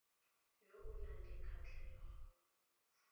yo o nang le kgatlhego